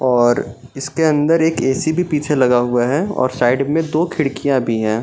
और इसके अंदर एक ऐ.सी. भी पिछे लगा हुआ है और साइड में दो खिड़कियां भी हैं।